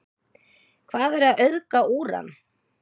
hvað er að auðga úran